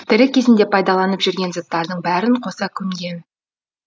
тірі кезінде пайдаланып жүрген заттардың бәрін қоса көмген